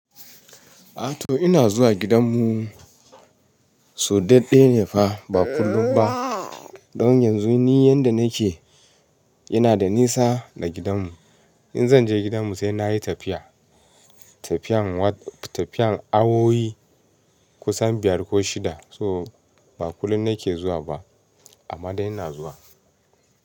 Ato ina zuwa gidanmu, so daɗɗe ne fa ba kullum ba. Don yanzu ni yanda nake ina da nisa da gidanmu. In zan je gidanmu sai na yi tafiya, tafiyan awowi kusan biyar ko shida. So ba kullum nake zuwa ba amma dai ina zuwa.